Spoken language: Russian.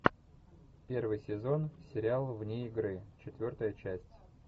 первый сезон сериала вне игры четвертая часть